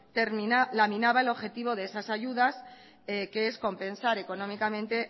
laminaba el objetivo de esas ayudas que es compensar económicamente